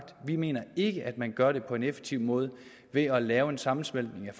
vi mener ikke at man gør det på en effektiv måde ved at lave en sammensmeltning